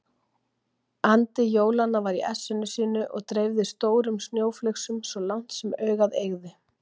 Andi jólanna var í essinu sínu og dreifði stórum snjóflygsum svo langt sem augað eygði.